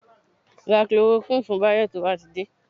Ra Chloroquine fún Báyọ̀ tó bá ti dé